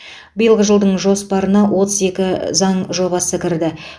биылғы жылдың жоспарына отыз екі заң жобасы кірді